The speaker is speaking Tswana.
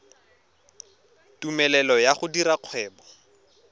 tumelelo ya go dira kgwebo